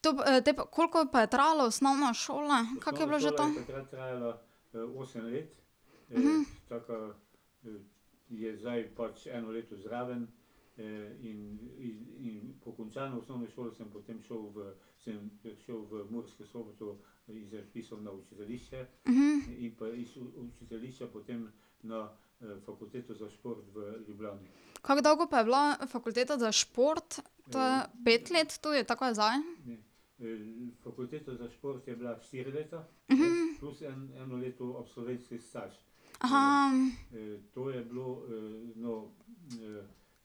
to pa, te pa, koliko pa je trajala osnovna šola, kako je bilo že to? Kako dolgo pa je bila fakulteta za šport, ta pet let tudi, tako kot je zdaj?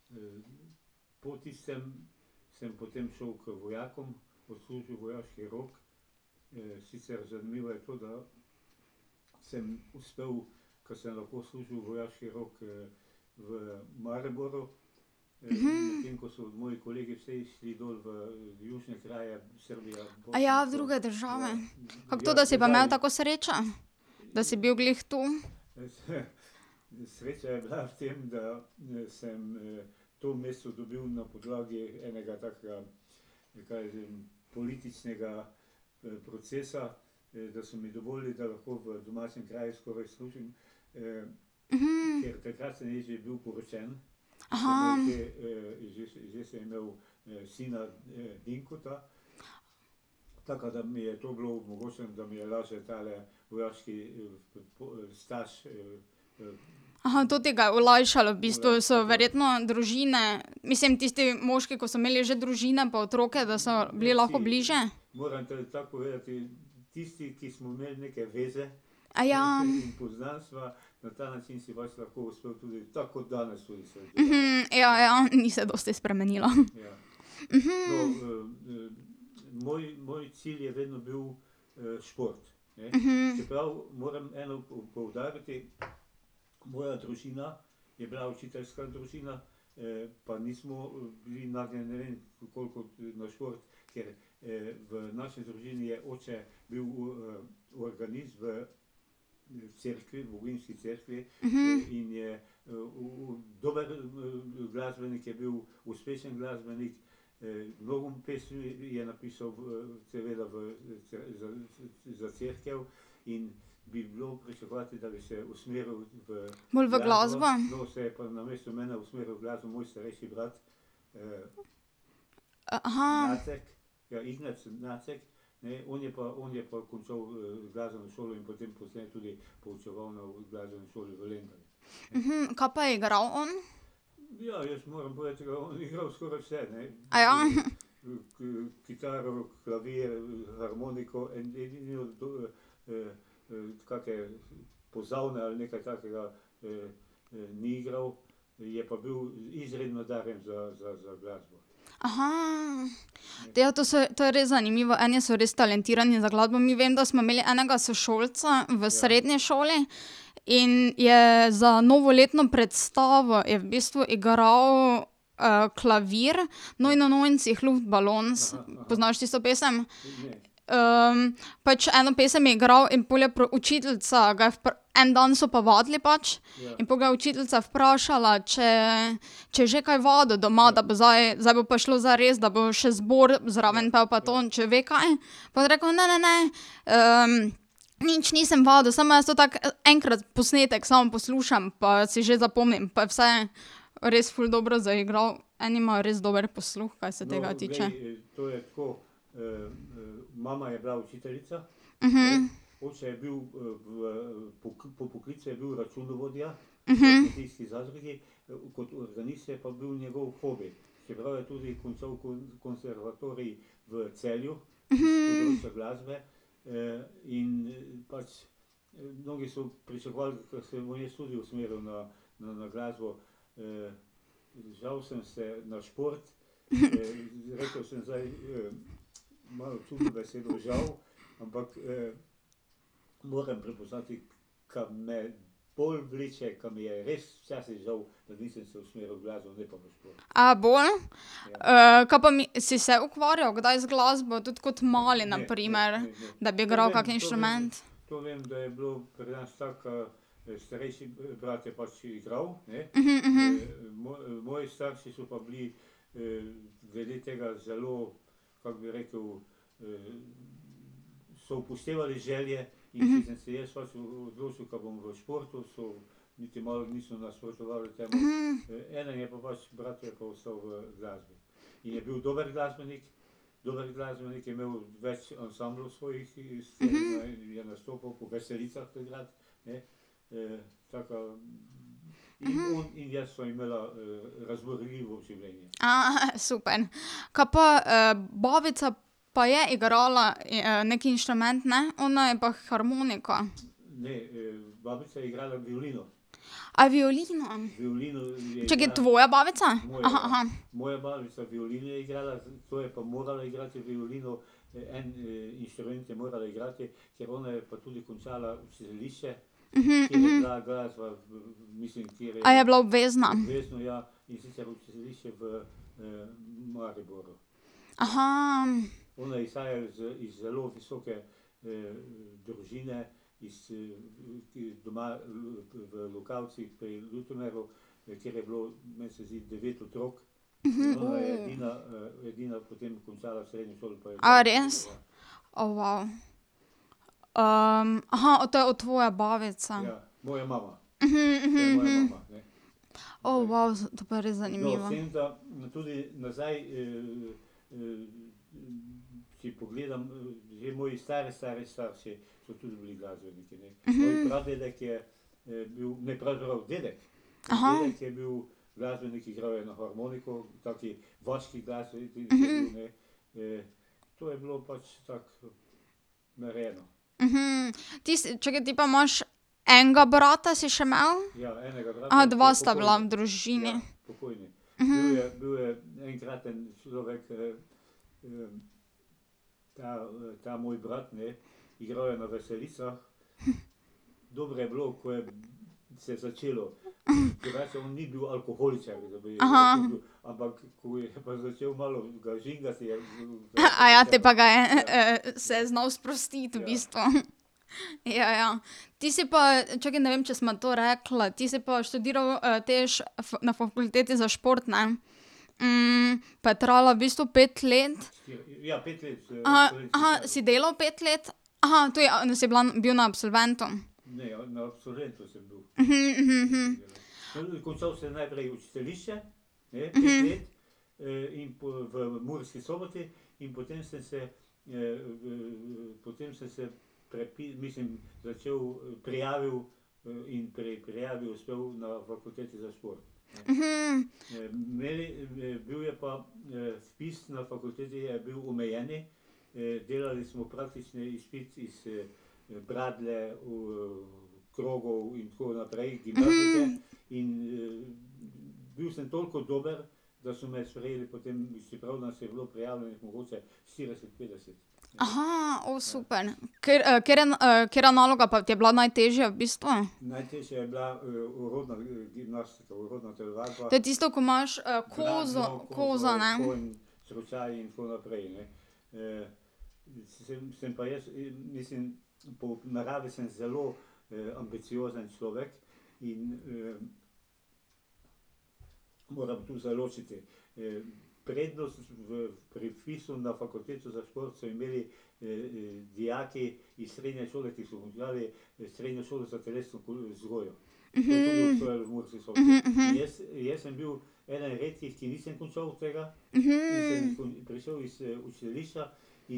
v druge države. Kako to, da si pa imel tako srečo? Da si bil glih tu. to ti ga je olajšalo v bistvu, so verjetno družine, mislim tisti moški, ko so imeli že družine pa otroke, da so bili lahko bliže? ja, ja, ni se dosti spremenilo. Bolj v glasbo? kaj pa je igral on? Te pa to so, to je res zanimivo, eni so res talentirani za glasbo. Mi vem, da smo imeli enega sošolca v srednji šoli in je za novoletno predstavo, je v bistvu igral klavir, Neunundneunzig Luftballons, poznaš tisto pesem? pač eno pesem je igral in pol je učiteljica, ga je en dan so pa vadili pač in pol ga je učiteljica vprašala, če, če je že kaj vadil doma, da bo zdaj, zdaj bo pa šlo zares, da bo še zbor zraven pel pa to, če ve kaj. Pa je on rekel: "Ne, ne, ne. nič nisem vadil, samo jaz to tako enkrat posnetek samo poslušam, pa si že zapomnim pa vse." Res ful dobro zaigral, eni imajo res dober posluh, kaj se tega tiče. A bolj? kaj pa si se ukvarjali kdaj z glasbo tudi kot mali na primer? Da bi igral kak inštrument. super. Kaj pa babica pa je igrala neki inštrument, ne? Ona je pa harmonika. A violino? Čakaj, tvoja babica? A je bila obvezna? A res? O to je od tvoja babica. O to pa je res zanimivo. ti čakaj ti pa imaš, enega brata si še imel? dva sta bila v družini. te pa ga je, se je znal sprostiti, v bistvu. Ja, ja. Ti si pa, čakaj, ne vem, če sva to rekla, ti si pa študiral te na fakulteti za šport, ne? pa je trajala v bistvu pet let? si delal pet let? to je, si bila, bil na absolventu. o super. katere katera naloga pa ti je bila najtežja v bistvu? To je tisto, ko imaš kozo, kozo, ne? da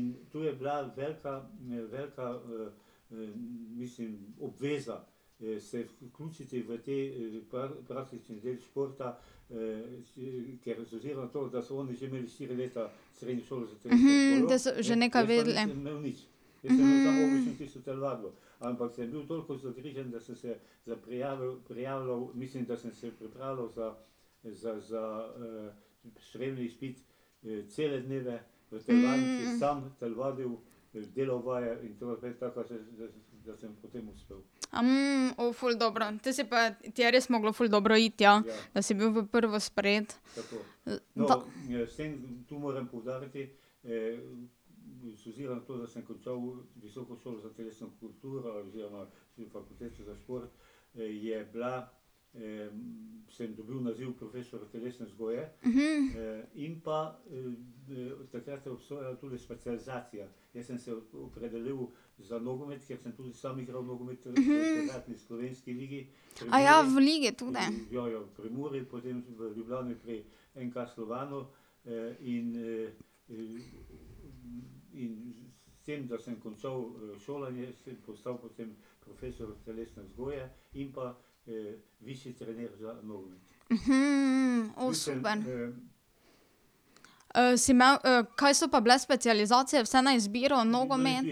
so že nekaj vedeli. A o ful dobro. Te si pa, ti je res moglo ful dobro iti, ja, da si bil v prvo sprejet. Da. v ligi tudi? o super. si imel, kaj so pa bile specializacije vse na izbiro? Nogomet ...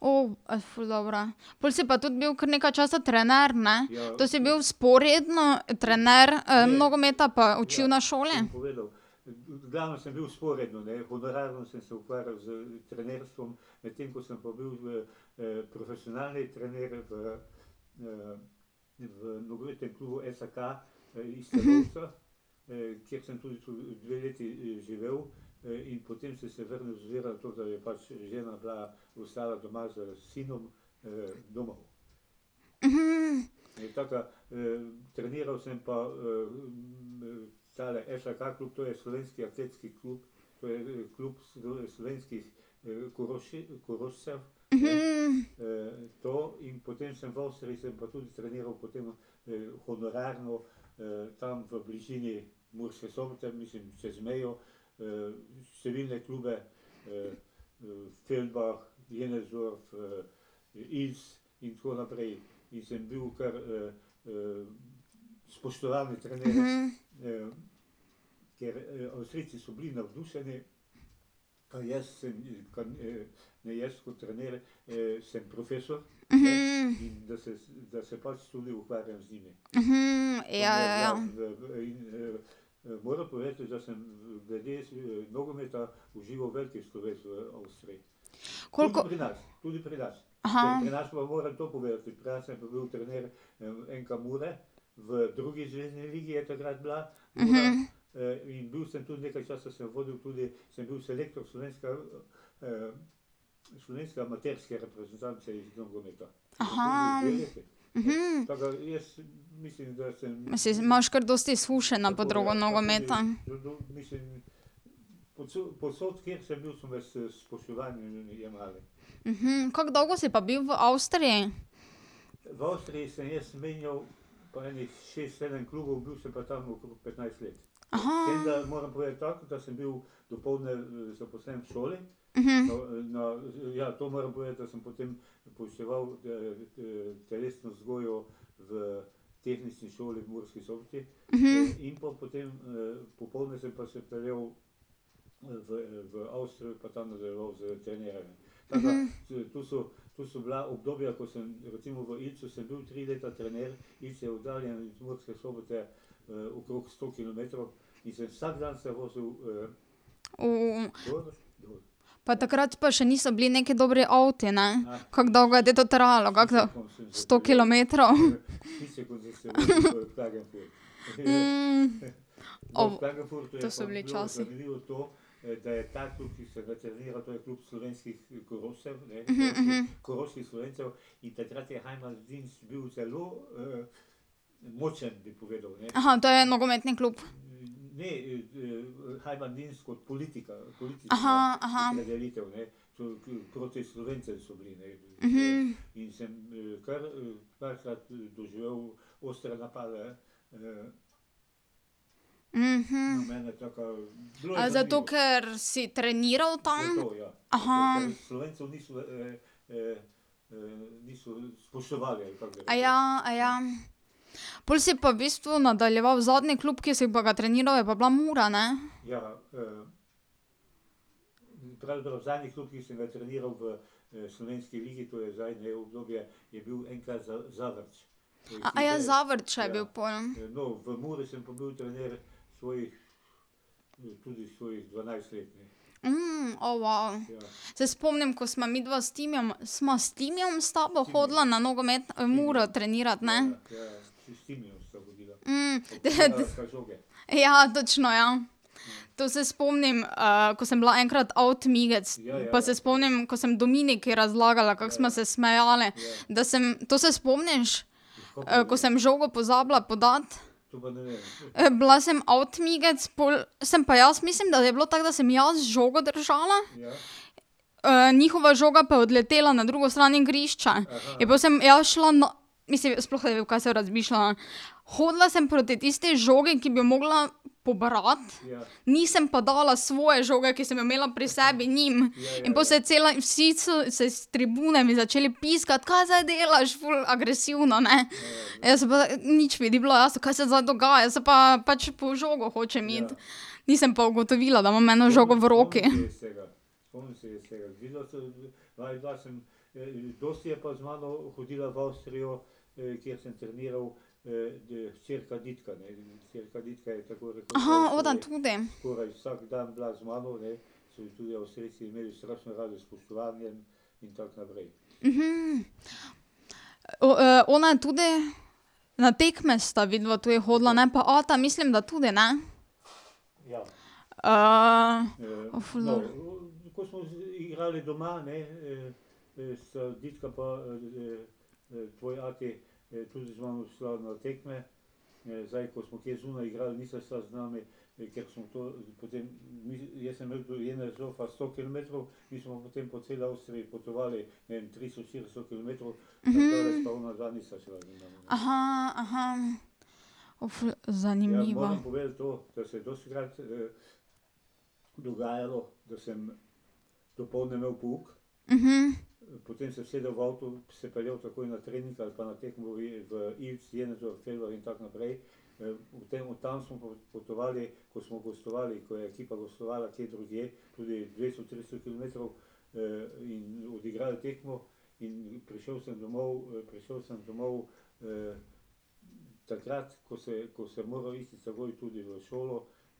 o, ful dobro. Pol si pa tudi bil kar nekaj časa trener, ne? To si bil vzporedno trener nogometa pa učil na šoli? ja, ja, ja. Koliko ... Mislim, imaš kar dosti izkušenj na podrogu nogometa. kako dolgo si pa bil v Avstriji? Pa takrat pa še niso bili neki dobri avti, ne? Kako dolgo je te to trajalo, kako Sto kilometrov. To so bili časi. to je nogometni klub? A zato, ker si treniral tam? Pol si pa v bistvu nadaljeval, zadnji klub, ki si pa ga treniral, je pa bila Mura, ne? Zavrča je bil pol. o Se spomnim, ko sva midva s Timijem, sva s Timijem s tabo hodila na nogomet Muro trenirat, ne? ... Ja, točno, ja. To se spomnim, ko sem bila enkrat avtmigec, pa se spomnim, ko sem Dominiki razlagala, kako sva se smejale. Da sem, to se spomniš? Ko sem žogo pozabila podati. Bila sem avtmigec, pol sem pa jaz, mislim, da je bilo tako, da sem jaz žogo držala, njihova žoga pa je odletela na drugo stran igrišča. In pol sem jaz šla, mislim, sploh kaj sem razmišljala. Hodila sem proti tisti žogi, ki bi jo mogla pobrati, nisem pa dala svoje žoge, ki sem jo imela pri sebi, njim. In pol se je cela in vsi s, s tribune mi začeli piskati, kaj zdaj delaš, ful agresivno, ne. Jaz pa, nič mi ni bilo jasno, kaj se zdaj dogaja, saj pa pač po žogo hočem iti. Nisem pa ugotovila, da imam eno žogo v roki. tudi. ona tudi, na tekme sta vidva tudi hodila, ne? Pa ata mislim, da tudi, ne? ful dobro. O, ful zanimivo.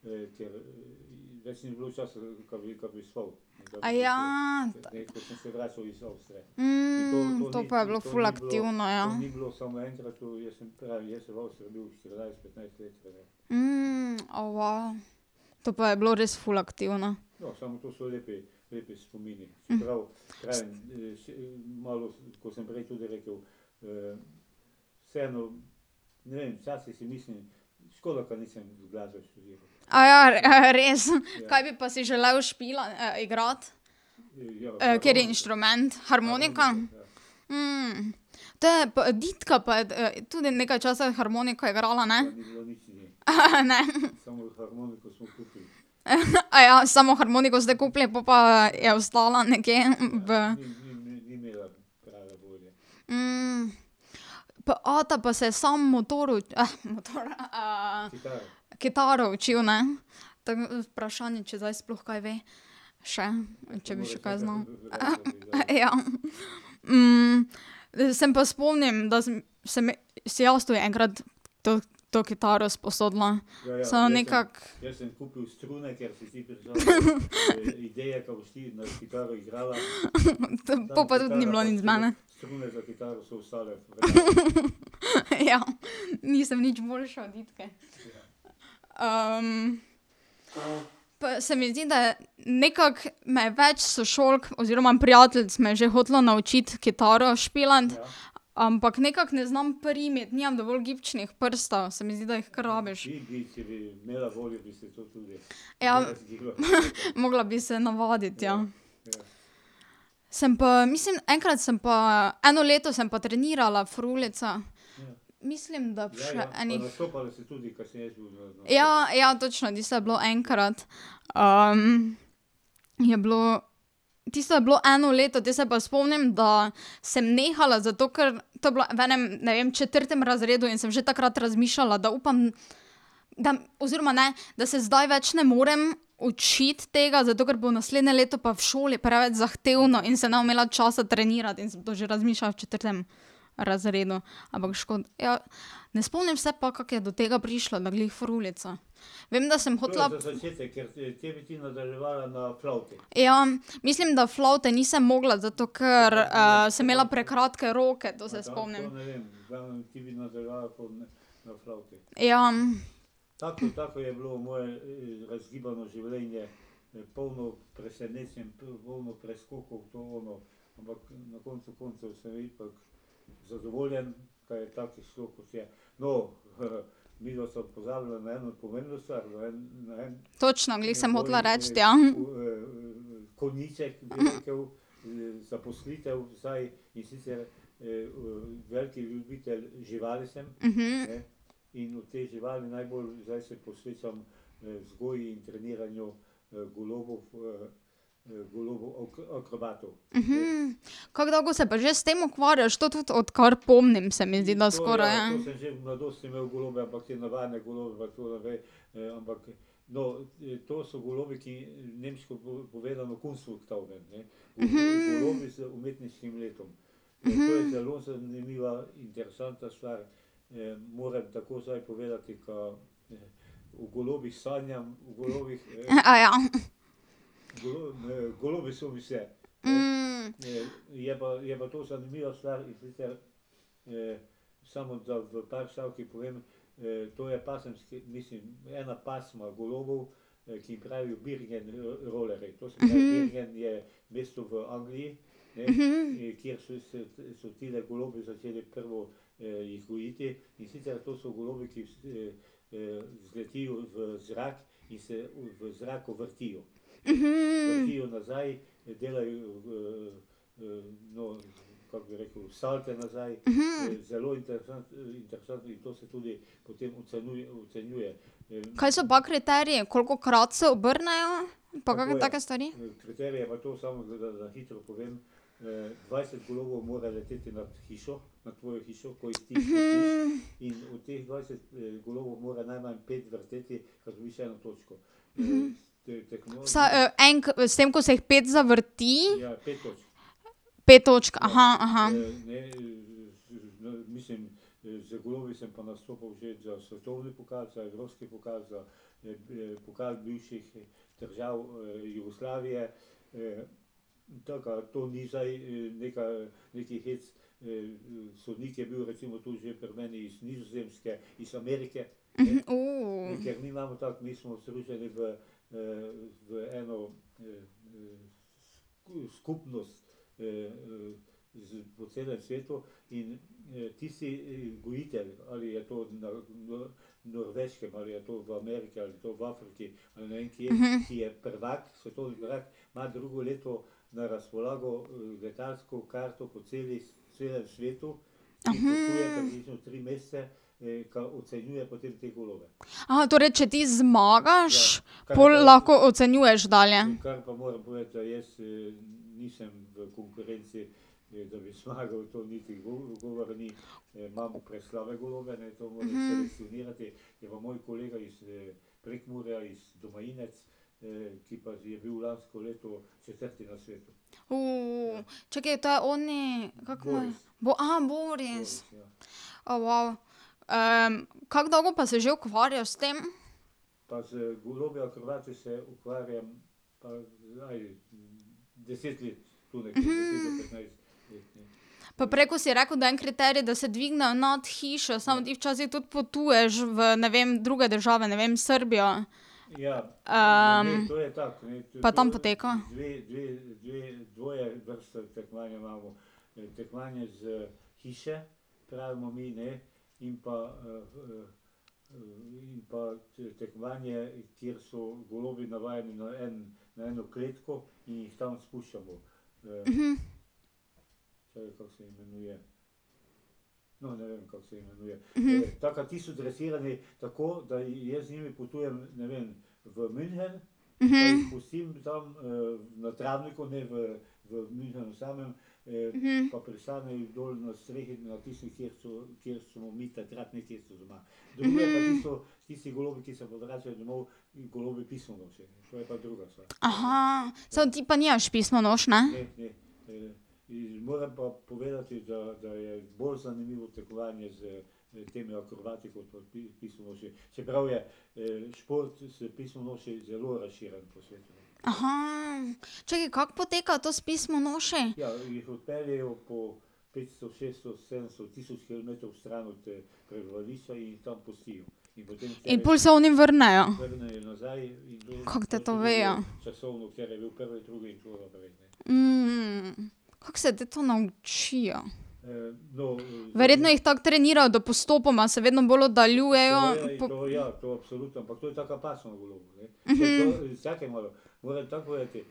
to pa je bilo ful aktivno, ja. o To pa je bilo res ful aktivno. a res? Kaj bi pa si želel igrati? Kateri inštrument, harmoniko? Te pa Ditka pa je tudi nekaj časa harmoniko igrala, ne? ne? samo harmoniko ste kupili, po pa je ostala nekje v ...? Pa ata pa se samo motor motor, kitaro učil, ne? Tako da vprašanje, če zdaj sploh kaj ve še, če bi še kaj znal. ja. se pa spomnim, da sem, sem si jaz tudi enkrat to, to kitaro sposodila, samo nekako ... Po pa tudi ni bilo nič iz mene. Ja, nisem nič boljša od Ditke. pa se mi zdi, da je nekako me več sošolk oziroma prijateljic me je že hotelo naučiti kitaro špilati, ampak nekako ne znam prijeti, nimam dovolj gibčnih prstov, se mi zdi, da jih kar rabiš. Ja, mogla bi se navaditi, ja. Sem pa, mislim, enkrat sem pa, eno leto sem pa trenirala frulice. Mislim, da še enih ... Ja, ja, točno, tisto je bilo enkrat. je bilo, tisto je bilo eno leto, potem se pa spomnim, da sem nehala, zato ker, to je bilo v enem, ne vem, četrtem razredu in sem že takrat razmišljala, da upam, da da, oziroma, ne, da se zdaj več ne morem učiti tega, zato ker bo naslednje leto pa v šoli preveč zahtevno in se ne bom imela časa trenirati in sem to že razmišljala v četrtem razredu. Ampak ja. Ne spomnim se pa, kako je do tega prišlo, da glih frulica. Vem, da sem hotela ... Ja, mislim, da flavte nisem mogla, zato ker sem imela prekratke roke, to se spomnim. Ja. Točno, glih sem hotela reči. Kako dolgo se pa že s tem ukvarjaš? To tudi odkar pomnim, se mi zdi, da skoraj. Kaj so pa kriteriji, kolikokrat se obrnejo? Pa kakšne take stvari? Vsaj s tem, ko se jih pet zavrti, pet točk, torej, če ti zmagaš, pol lahko ocenjuješ dalje? čakaj to je oni, kako mu je ... Boris. O, kako dolgo pa se že ukvarjaš s tem? Pa prej, ko si rekel, da je en kriterij, da se dvignejo nad hišo, samo ti včasih tudi potuješ v, ne vem, druge države, ne vem, Srbijo. pa tam poteka? samo ti pa nimaš pismonoš, ne? čakaj, kako poteka to s pismonošami? In pol se oni vrnejo? Kako te to vejo? Kako se te to naučijo? Verjetno jih tako trenirajo, da postopoma se vedno bolj oddaljujejo.